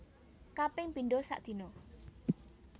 Kaping pindho sadina